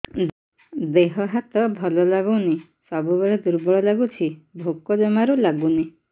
ଦେହ ହାତ ଭଲ ଲାଗୁନି ସବୁବେଳେ ଦୁର୍ବଳ ଲାଗୁଛି ଭୋକ ଜମାରୁ ଲାଗୁନି